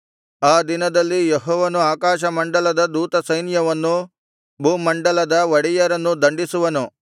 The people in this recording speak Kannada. ಆ ದಿನದಲ್ಲಿ ಯೆಹೋವನು ಆಕಾಶಮಂಡಲದ ದೂತಸೈನ್ಯವನ್ನೂ ಭೂಮಂಡಲದ ಒಡೆಯರನ್ನೂ ದಂಡಿಸುವನು